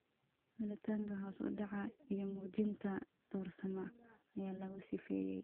Gelitaanka hoos u dhaca iyo muujinta doorsooma ayaa lagu sifeeyay.